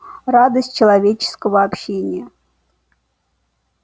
радость человеческого общения